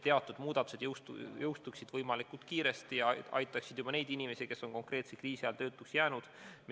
Teatud muudatused peaksid jõustuma võimalikult kiiresti ja aitama inimesi, kes on konkreetselt kriisi ajal töötuks jäänud.